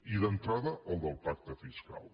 i d’entrada el del pacte fiscal